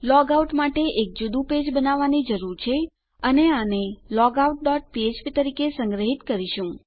log out માટે આપણે એક જુદું પેજ બનાવવાની જરૂર છે અને આને લોગઆઉટ ડોટ ફ્ફ્પ તરીકે સંગ્રહીત કરીશું